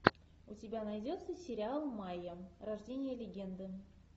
у тебя найдется сериал майя рождение легенды